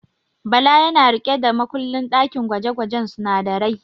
Bala yana riƙe da makullin ɗakin gwaje-gwajen sunadarai.